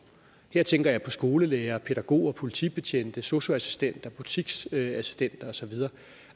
her tænker jeg på skolelærere pædagoger politibetjente sosu assistenter butiksassistenter og så videre